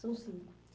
São cinco.